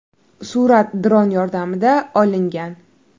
Surat dron yordamida olingan.